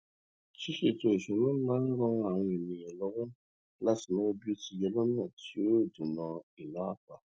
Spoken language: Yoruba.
ṣiṣètò ìṣúná máa n ran àwọn ènìyàn lọwọ láti náwó bí ó ti yẹ lọnà tí yóò dènà ìná àpà